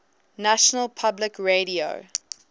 national public radio